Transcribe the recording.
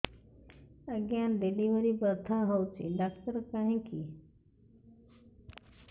ଆଜ୍ଞା ଡେଲିଭରି ବଥା ହଉଚି ଡାକ୍ତର କାହିଁ କି